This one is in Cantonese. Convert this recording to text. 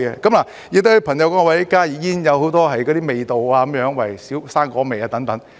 此外，有些朋友說加熱煙有很多味道，如水果味等。